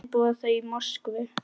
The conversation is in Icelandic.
Bæði búa þau í Moskvu.